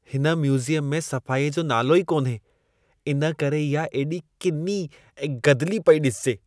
हिन म्यूज़ियम में सफ़ाईअ जो नालो ई कान्हे। इन करे इहा एॾी किनी ऐं गदिली पई ॾिसिजे।